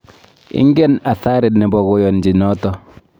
Ingen athari nebo koyanchi noto